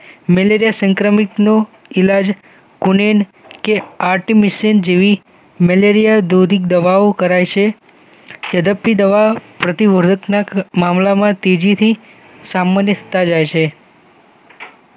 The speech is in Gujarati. મલેરિયા સંક્રમિતનું ઈલાજ ઓનેમ કે આર્ટિમીસિનિન જેવી મેલેરિયા દોરીક દવાઓ કરાય છે થેરેપી દવાઓ મામલામાં તેજીથી સામાન્ય થતા જાય છે